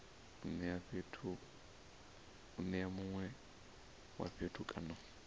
nea mune wa fhethu kana